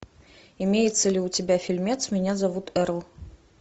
имеется ли у тебя фильмец меня зовут эрл